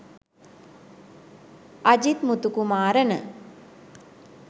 ajith muthukumarana